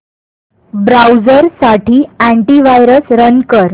browser साठी antivirus run कर